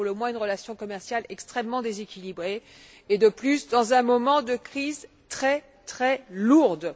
C'est pour le moins une relation commerciale extrêmement déséquilibrée, et cela dans un moment de crise extrêmement lourde.